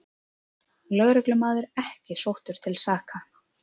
Lögreglumaður ekki sóttur til saka